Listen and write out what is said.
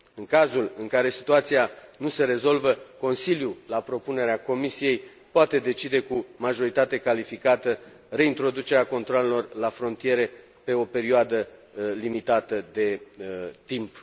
În cazul în care situația nu se rezolvă, Consiliul, la propunerea Comisiei, poate decide cu majoritate calificată reintroducerea controalelor la frontiere pe o perioadă limitată de timp.